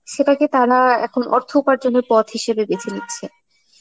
সেটাকে তারা এখন অর্থ উপার্জনের পথ হিসাবে বেছে নিচ্ছে.